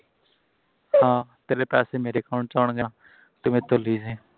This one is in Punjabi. ਹਾਂ ਤੇਰੇ ਪੈਸੇ ਮੇਰੇ account ਚ ਆਉਣਗੇ ਤੇ ਮੇਰੇ ਕੋਲੋ ਲਈ ਜਾਈਂ